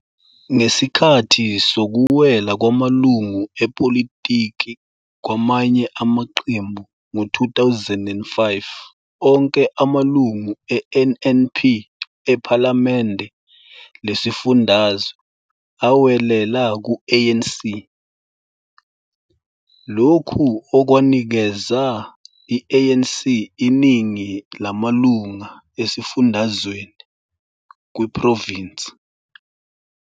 Ngesikhathi sokuwela kwamalunga epolitiki kwamanye amaqembu ngo- 2005 onke amalungu e-NNP ePhalamende Lesifundazwe awelela ku-ANC, lokhu okwanikeza i-ANC iningi lamalunga esifundazweni, kwiprovinsi.